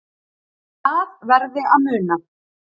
Það verði að muna